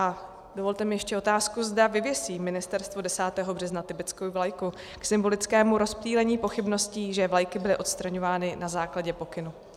A dovolte mi ještě otázku, zda vyvěsí Ministerstvo 10. března tibetskou vlajku k symbolickému rozptýlení pochybností, že vlajky byly odstraňovány na základě pokynu.